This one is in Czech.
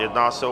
Jedná se o